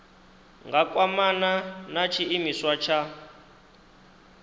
nga kwamana na tshiimiswa tsha